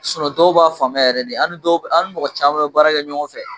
dɔw b'a faamuya yɛrɛ de ani dɔw ani mɔgɔ caman bɛ baara kɛ ɲɔgɔn fɛ